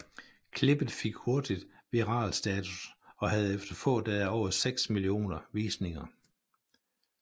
Klippet fik hurtigt viral status og havde efter få dage over seks millioner visninger